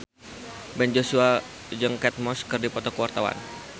Ben Joshua jeung Kate Moss keur dipoto ku wartawan